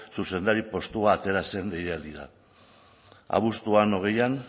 zuzendari postu bat atera zen deialdia abuztuan hogeian